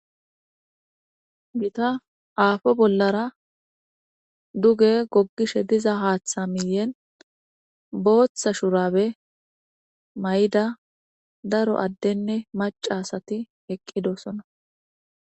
gita aafo bollara duge goggishe diza haaththa miyen booththa shurabe may7ida daro addenne macasati eqqidosona